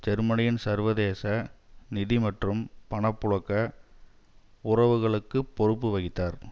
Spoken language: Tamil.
ஜெர்மனியின் சர்வதேச நிதி மற்றும் பணப்புழக்க உறவுகளுக்கு பொறுப்பு வகித்தார்